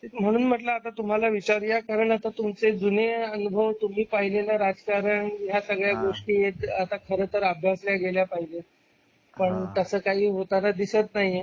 म्हणून म्हंटलं आता तुम्हाला विचारुया कारण आता तुमचे जुने अनुभव तुम्ही पाहिलेल राजकारण या सगळ्या गोष्टी आता खरं तर अभ्यासल्या गेल्या पाहिजे पण तस काही होताना दिसत नाही.